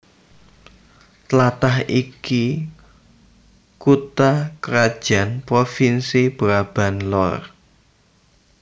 Tlatah iki kutha krajan provinsi Brabant Lor